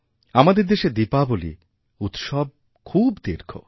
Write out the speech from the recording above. আমাদের দেশে দীপাবলী উৎসব খুব দীর্ঘ